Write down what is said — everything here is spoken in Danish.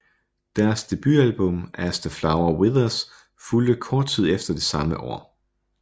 Deres debutalbum As The Flower Withers fulgte kort tid efter det samme år